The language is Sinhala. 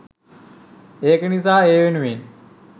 ඒක නිසා ඒ වෙනුවෙන්